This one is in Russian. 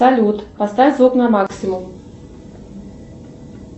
салют поставь звук на максимум